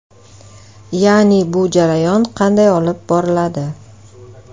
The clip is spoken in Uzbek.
Ya’ni bu jarayon qanday olib boriladi?